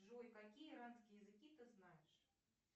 джой какие иранские языки ты знаешь